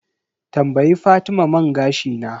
Tambayi fatima man gashi na.